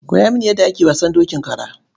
Koya mini yadda ake wasan dokin kara.